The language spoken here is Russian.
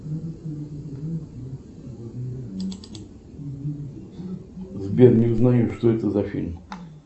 сбер не узнаю что это за фильм